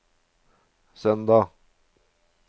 søndag